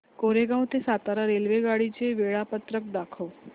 कोरेगाव ते सातारा रेल्वेगाडी चे वेळापत्रक दाखव